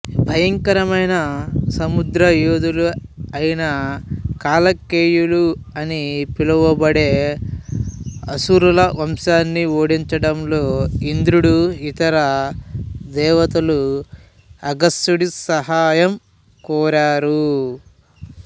భయంకరమైన సముద్రయోధులు అయిన కలకేయులు అని పిలువబడే అసురుల వంశాన్ని ఓడించడంలో ఇంద్రుడు ఇతర దేవతలు అగస్త్యుడి సహాయం కోరారు